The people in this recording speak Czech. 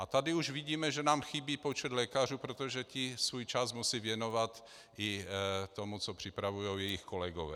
A tady už vidíme, že nám chybí počet lékařů, protože ti svůj čas musí věnovat i tomu, co připravují jejich kolegové.